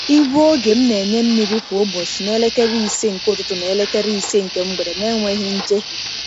Igwe oge m na-enye mmiri kwa ụbọchị na elekere ise nke ụtụtụ na elekere ise nke mgbede n’enweghị njehie.